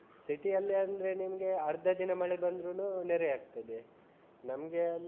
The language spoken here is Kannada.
City ಯಲ್ಲಿ ಅಂದ್ರೆ ನಿಮ್ಗೆ ಅರ್ಧ ದಿನ ಮಳೆ ಬಂದ್ರುನು ನೆರೆ ಆಗ್ತದೆ ನಮ್ಗೆ ಅಲ್ಲಿ.